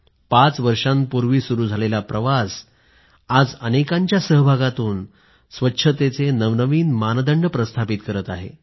पाच वर्षापूर्वी सुरू झालेला प्रवास आज अनेकांच्या सहभागातून स्वच्छतेचे नवनवीन मानदंड प्रस्थापित करत आहे